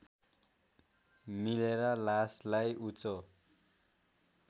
मिलेर लासलाई उँचो